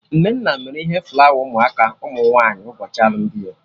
Nnenna mere ihe flawa ụmụ aka ụmụ nwaanyị ụbọchị alụmdi ya